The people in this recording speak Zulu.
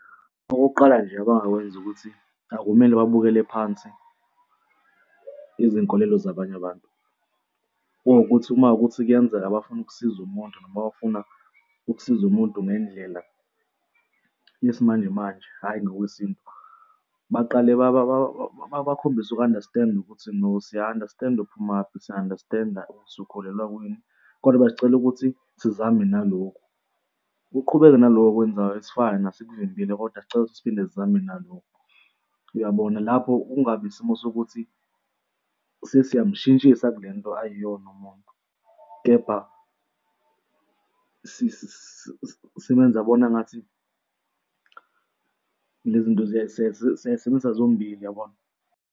Okokuqala nje abangakwenza ukuthi akumele babukele phansi izinkolelo zabanye abantu. Kuwukuthi uma kuwukuthi kuyenzeka bafuna ukusiza umuntu noma bafuna ukusiza umuntu ngendlela yesimanjemanje, hhayi ngokwesintu, baqale bakhombise uku-understand-a ukuthi no, siya-understand-a uphumaphi siya-understand-a ukuthi ukholelwa kwini, koda besicela ukuthi sizame nalokhu. Uqhubeke nalokhu okwenzayo it's fine asikuvimbile, kodwa sicela siphinde sizame nalokhu, uyabona? Lapho kungabi isimo sokuthi sesiyamshintshisa kule nto ayiyona umuntu, kepha simenza abone angathi le zinto siyay'sebenzisa zombili, uyabona?